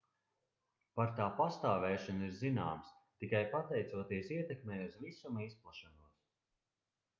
par tā pastāvēšanu ir zināms tikai pateicoties ietekmei uz visuma izplešanos